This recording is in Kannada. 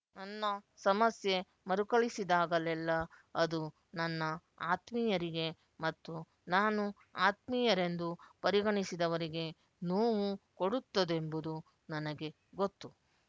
ನನ್ನ ಸಮಸ್ಯೆ ಮರುಕಳಿಸಿದಾಗಲ್ಲೆಲ್ಲ ಅದು ನನ್ನ ಆತ್ಮೀಯರಿಗೆ ಮತ್ತು ನಾನು ಆತ್ಮೀಯರೆಂದು ಪರಿಗಣಿಸಿದವರಿಗೆ ನೋವು ಕೊಡುತ್ತದೆಂಬುದು ನನಗೆ ಗೊತ್ತು